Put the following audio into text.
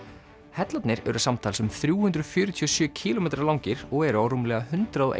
hellarnir eru samtals um þrjú hundruð fjörutíu og sjö kílómetra langir og eru á rúmlega hundrað og